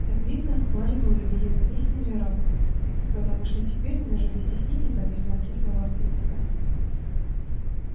как видно плач был лебединой песней джералда потому что теперь он уже без стеснения повис на руке своего спутника